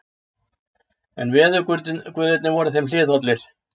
En veðurguðirnir voru þeim hliðhollir.